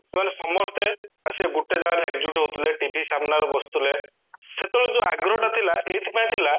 ସେମାନେ ସମସ୍ତେ ଆସିକି ଗୋଟେ ଜାଗାରେ ଏକଜୁଟ ହଉଥିଲେ TV ସାମ୍ନାରେ ବସୁଥିଲେ ସେତେବେଳେ ଯୋଉ ଆଗ୍ରହ ଟା ଥିଲା ଏଇଥିପାଇଁ ଥିଲା